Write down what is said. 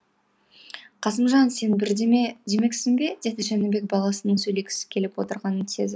қасымжан сен бірдеме демексің бе деді жәнібек баласының сөйлегісі келіп отырғанын сезіп